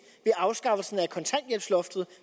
ved afskaffelsen af kontanthjælpsloftet